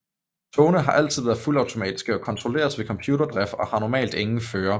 Togene har altid været fuldautomatiske og kontrolleres ved computerdrift og har normalt ingen fører